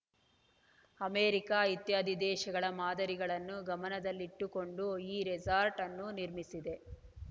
America ಇತ್ಯಾದಿ ದೇಶಗಳ ಮಾದರಿಗಳನ್ನು ಗಮನದಲ್ಲಿಟ್ಟುಕೊಂಡು ಈ ರೆಸಾರ್ಟ್‌ ಅನ್ನು ನಿರ್ಮಿಸಿದೆ